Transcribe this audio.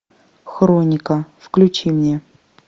хроника включи мне